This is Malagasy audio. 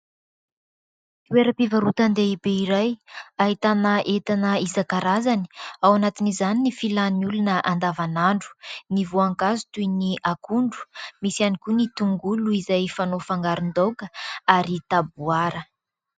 Toeram-pivarotan-dehibe iray ahitana entana isankarazany. Ao anatin'izany ny filan'ny olona andavanandro ny voankazo toy ny akondro misy ihany koa ny tongolo izay fanao fangaron-daoka ary taboara.